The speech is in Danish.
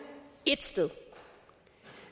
ét sted